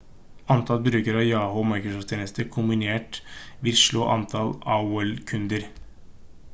antall brukere av yahoo og microsoft-tjenestene kombinert vil slå antall aol-kunder